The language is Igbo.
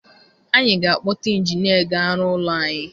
Anyị ga-akpọta ịnjinịa ga-arụ ụlọ anyị.